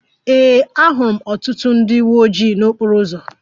Ee, ahụrụ m ọtụtụ ndị uwe ojii n'okporo ụzọ